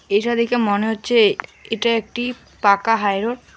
এইটা দেইখা মনে হচ্ছে এইটা একটি পাকা হাই রোড ।।